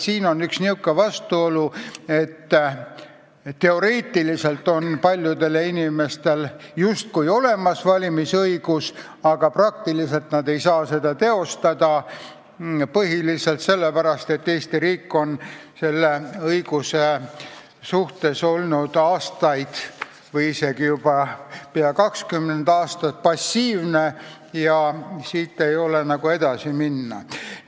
Siin on üks niisugune vastuolu, et teoreetiliselt paljudel inimestel justkui on valimisõigus olemas, aga praktiliselt nad ei saa seda teostada põhiliselt sellepärast, et Eesti riik on nende õigusse aastaid, isegi peaaegu 20 aastat passiivselt suhtunud ja siit ei ole nagu edasi minna.